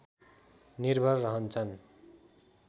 निर्भर रहन्छन्